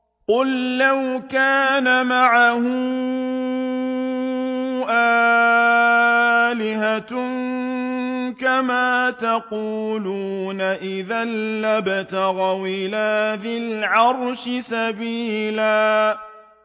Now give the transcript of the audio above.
قُل لَّوْ كَانَ مَعَهُ آلِهَةٌ كَمَا يَقُولُونَ إِذًا لَّابْتَغَوْا إِلَىٰ ذِي الْعَرْشِ سَبِيلًا